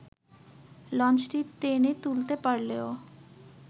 লঞ্চটি টেনে তুলতে পারলেও